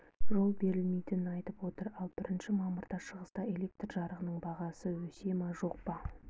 жол бермейтінін айтып отыр ал бірінші мамырда шығыста электр жарығының бағасы өсе ме жоқ па